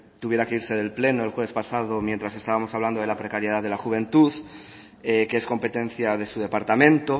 tuviera que irse del pleno el jueves pasado mientras estábamos hablando de la precariedad de la juventud que es competencia de su departamento